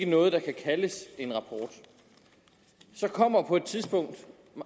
noget der kan kaldes en rapport så kommer der på et tidspunkt